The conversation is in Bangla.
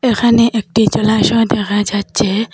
এখানে একটি জলাশয় দেখা যাচ্চে।